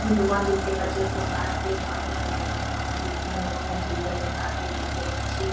দোকান দেখতে পাচ্ছি কোনো কার্পেট পাপোসের দোকান কারণ বিভিন্ন রকম ডিজাইন এর কার্পেট দেখতে পাচ্ছি।